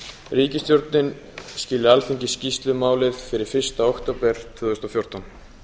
ríkisstjórnin skili alþingi skýrslu um málið fyrir fyrsta október tvö þúsund og fjórtán